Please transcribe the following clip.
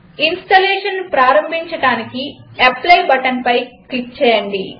ఇన్స్టలేషన్ను ప్రారంభించడానికి అప్లై బటన్పై క్లిక్ చేయండి